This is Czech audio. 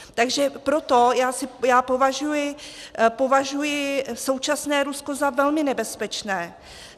Takže proto já považuji současné Rusko za velmi nebezpečné.